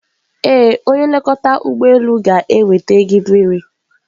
Ee, onye nlekọta ụgbọ elu ga-enweta gị mmiri.